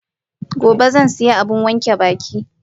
Gobe zan sayi abun wanke baki.